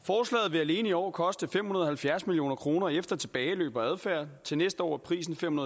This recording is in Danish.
vil alene i år koste fem hundrede og halvfjerds million kroner efter tilbageløb og adfærd til næste år er prisen fem